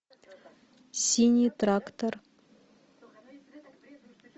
синий трактор